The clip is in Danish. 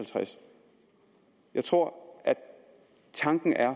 jeg tror at tanken er at